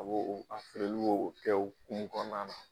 A b'o a o b'o o kɛ o ukumu kɔnɔna na